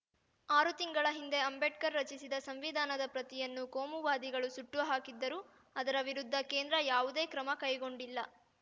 ಆರು ತಿಂಗಳ ಹಿಂದೆ ಅಂಬೇಡ್ಕರ್‌ ರಚಿಸಿದ ಸಂವಿಧಾನದ ಪ್ರತಿಯನ್ನು ಕೋಮುವಾದಿಗಳು ಸುಟ್ಟು ಹಾಕಿದ್ದರು ಅದರ ವಿರುದ್ಧ ಕೇಂದ್ರ ಯಾವುದೇ ಕ್ರಮ ಕೈಗೊಂಡಿಲ್ಲ